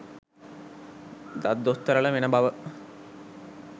දත් දොස්තරලා වෙන බව